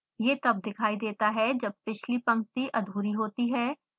यह तब दिखाई देता है जब पिछली पंक्ति अधूरी होती है